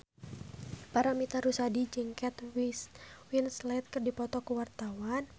Paramitha Rusady jeung Kate Winslet keur dipoto ku wartawan